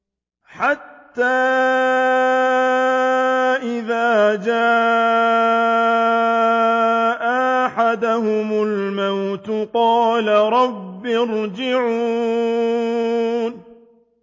حَتَّىٰ إِذَا جَاءَ أَحَدَهُمُ الْمَوْتُ قَالَ رَبِّ ارْجِعُونِ